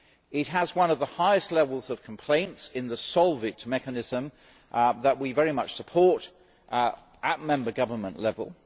It has one of the highest levels of complaints in the Solvit mechanism that we very much support at member government level.